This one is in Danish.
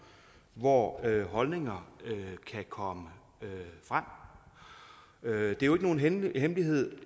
hvor holdninger kan komme frem det er jo ikke nogen hemmelighed